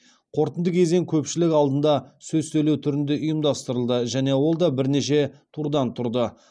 қорытынды кезең көпшілік алдында сөз сөйлеу түрінде ұйымдастырылды және ол да бірнеше турдан тұрды